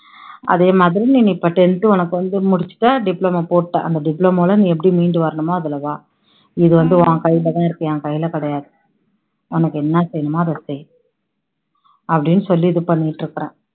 அதே மாதிரி நீ நீ இப்போ tenth உனக்கு வந்து முடிச்சுட்ட diploma போட்டுட்ட அந்த diploma ல எப்படி மீண்டு வரணுமோ அதுல வா இது வந்து உன் கையில தான் இருக்கு என் கையில கிடையாது உனக்கு என்ன செய்யணுமோ அதை செய் அப்படின்னு சொல்லி இது பண்ணிட்டு இருக்குறேன்